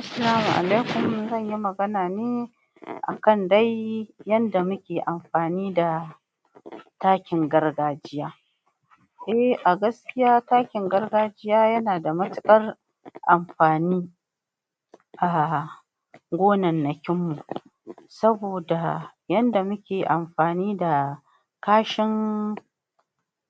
Assalamu alaikum zanyi magana ne akan dai yadda muke amfani da takin gargajiya eh a gaskiya takin gargajiya yana da matuƙar amfani ah gonannakinmu saboda yadda muke amfani da kashin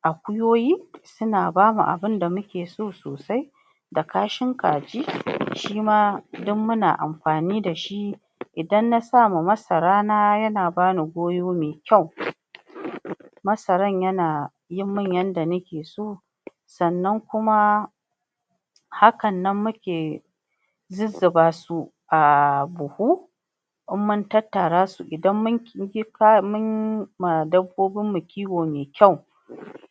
akuyoyi suna bamu abunda muke so sosai da kashin kaji shima duk muna amfani dashi idan na sama Masara ma yana bani goyo me kyau masarar yana yimin yadda nake so sannan kuma hakan nan muke zuzzubasu a buhu inmun tattara su, inmun ma dabbobinmu kiwo me kyau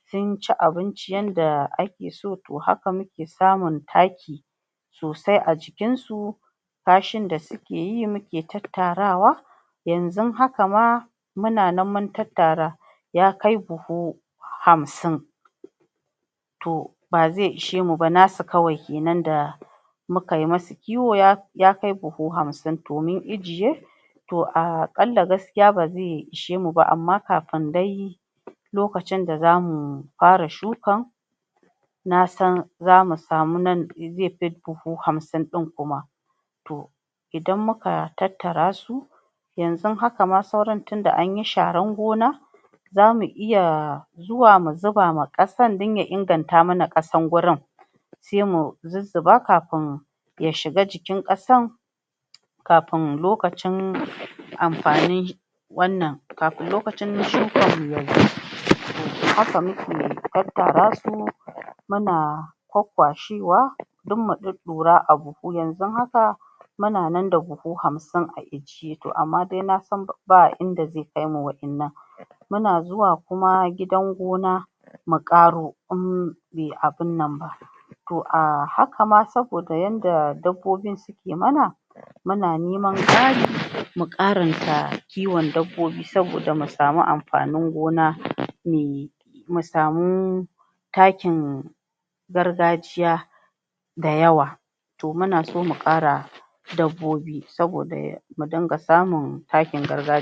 sunci abinci yadda ake so to haka muke samun taki sosai a cikin su kashin da suke yi muke tattarawa yanzun haka ma muna nan mun tattatara ya kai buhu hamsin to baze ishe muba nasu kawai kenan da mukai musu kiwo yakai buhu hamsin to mun ijiye to aƙalla gaskiya baze ishe muba amma kafin dai lokacin da zamu fara shuka nasan zamu samu nan zefi buhu hamsin ɗin kuma to idan muka tattara su yanzun haka ma sauran tinda anyi sharar gona zamu iya zuwa mu zuba ma ƙasan dan ya inganta mana ƙasan gurin se mu zuzzuba kafin ya shiga cikin ƙasan kafin lokacin amfaninshi wannan, kamin lokacin shukarmu yazo to haka muke tattara su muna kwakkwashewa duk mu ɗuɗɗura a buhu yazun haka muna nan da buhu hamsin a ijiye, to amman dai nasan ba inda ze kaimu waɗinnan muna zuwa kuma gidan gona muƙaro in be abunnan ba to ahaka ma saboda yanda dabbobin suke mana muna neman ƙari mu ƙaranta kiwon dabbobi saboda mu samu amfanin gona me mu samu takin gargajiya da yawa to muna so muƙara dabbobi saboda mudinga samun takin gargajiya